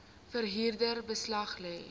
verhuurder beslag lê